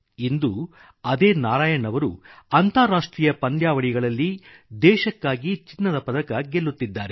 ಇಂದು ಅದೇ ನಾರಾಯಣ್ ಅವರು ಅಂತಾರಾಷ್ಟ್ರೀಯ ಪಂದ್ಯಾವಳಿಗಳಲ್ಲಿ ದೇಶಕ್ಕಾಗಿ ಚಿನ್ನದ ಪದಕ ಗೆಲ್ಲುತ್ತಿದ್ದಾರೆ